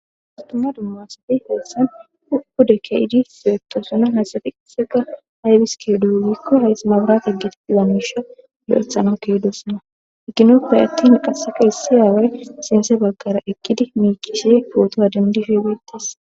Astuma dummasatey heessan upude keyidi sietosuna. Hasafi qisega haybiske dougikko haysmabarat eggeti lammisha lo'ethana keydos. Na eginoppay atti maqaseka hissi aaway sinse baggara ekkidi miic'isie pootoha dindifhe beettas.